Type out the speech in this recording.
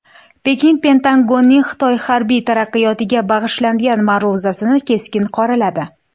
Pekin Pentagonning Xitoy harbiy taraqqiyotiga bag‘ishlangan ma’ruzasini keskin qoraladi.